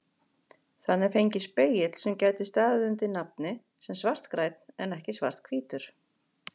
Þannig fengist spegill sem gæti staðið undir nafni sem svartgrænn en ekki svarthvítur.